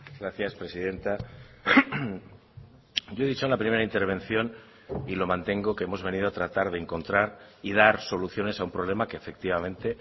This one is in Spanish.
gracias presidenta yo he dicho en la primera intervención y lo mantengo que hemos venido a tratar de encontrar y dar soluciones a un problema que efectivamente